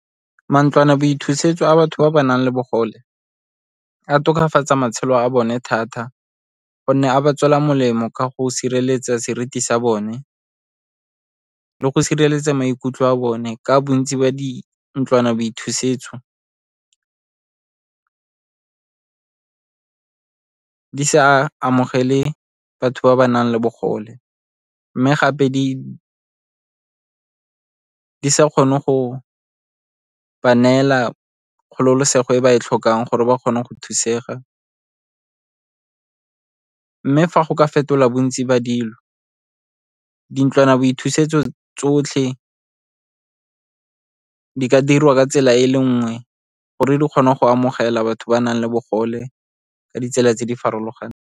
Mantlwanaboithusetso a batho ba ba nang le bogole a tokafatsa matshelo a bone thata gonne a ba tswela molemo ka go sireletsa seriti sa bone le go sireletsa maikutlo a bone, ka bontsi ba dintlwanaboithusetso di sa amogele batho ba ba nang le bogole, mme gape di sa kgone go ba neela kgololosego e ba e tlhokang gore ba kgone go thusega. Mme fa go ka fetola bontsi ba dilo, dintlwanaboithusetso tsotlhe di ka dirwa ka tsela e le nngwe gore di kgone go amogela batho ba nang le bogole ka ditsela tse di farologaneng.